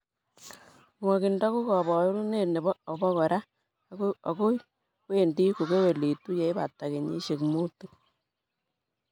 Nwokindo ko koborunet nebo obokora akoi wendi kokewelitu yeipata kenyisiek mutu.